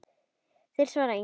Þeir svara engu.